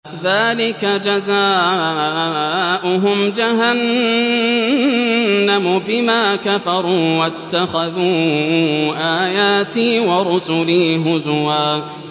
ذَٰلِكَ جَزَاؤُهُمْ جَهَنَّمُ بِمَا كَفَرُوا وَاتَّخَذُوا آيَاتِي وَرُسُلِي هُزُوًا